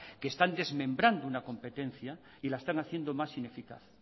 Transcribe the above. que están desmembrando una competencia y la están haciendo más ineficaz